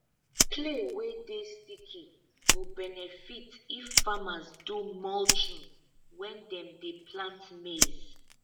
clay wey dey sticky go benefit if farmers do mulching when dem dey plant maize